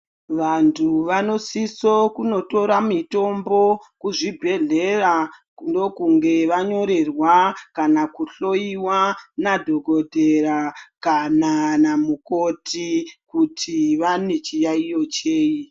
Vantu vanosiso kundotore mutombo kuzvibhehlera .Ndokunge vanyorerwa kana kuhloiwa nadhokotera kana namukoti kuti vanechiyaiyo chei .